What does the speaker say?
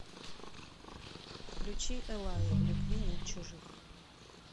включи эллаи в любви нет чужих